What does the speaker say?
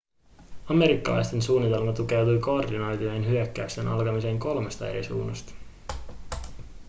amerikkalaisten suunnitelma tukeutui koordinoitujen hyökkäysten alkamiseen kolmesta eri suunnasta